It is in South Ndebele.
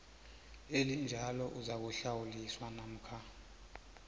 elinjalo uzakuhlawuliswa namkha